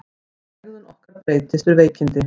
Hegðun okkar breytist við veikindi.